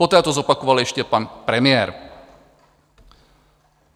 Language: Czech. Poté to zopakoval ještě pan premiér.